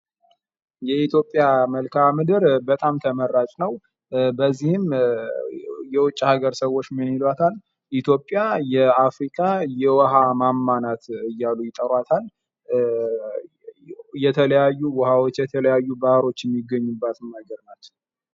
የኢትዮጵያ መልክዓ ምድር በጣም ተመራጭ ነው፡፡ በዚህም የውጭ አገር ሰዎች ምን ይሉእታል፤ ኢትዮጵያ የአፍሪካ የውሃ ማማ ናት እያሉ ይጠሩታል የተለያዩ ውሃ የተለያዩ ባህሮች የሚገኙበት ቦታ ናት፡፡